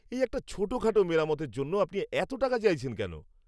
এই একটা ছোটখাটো মেরামতের জন্য আপনি এত টাকা চাইছেন কেন?